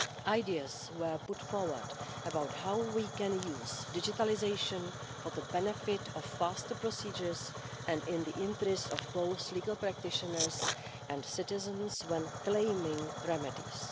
Ideas were put forward about how we can use digitalisation for the benefit of faster procedures and in the interests of both legal practitioners and citizens when claiming remedies.